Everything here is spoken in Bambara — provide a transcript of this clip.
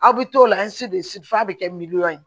Aw bɛ t'o la f'a bɛ kɛ miliyɔn ye